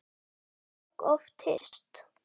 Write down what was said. Við höfum margoft hist.